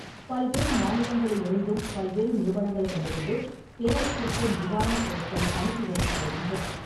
பல்வேறு மாநிலங்களிலிருந்தும், பல்வேறு நிறுவனங்களிடமிருந்தும் கேரளத்திற்கு நிவாரணப் பொருட்கள் அனுப்பி வைக்கப்படுகின்றன.